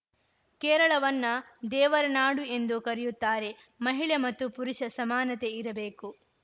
ಕೇರಳವನ್ನ ದೇವರನಾಡು ಎಂದು ಕರೆಯುತ್ತಾರೆ ಮಹಿಳೆ ಮತ್ತು ಪುರುಷ ಸಮಾನತೆ ಇರಬೇಕು